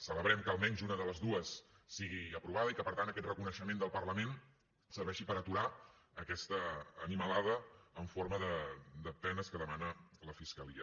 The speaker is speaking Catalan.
celebrem que almenys una de les dues sigui aprovada i que per tant aquest reconeixement del parlament serveixi per aturar aquesta animalada en forma de penes que demana la fiscalia